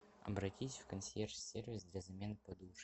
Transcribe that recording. обратись в консьерж сервис для замены подушки